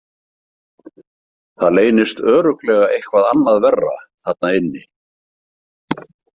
Það leynist örugglega eitthvað annað verra þarna inni.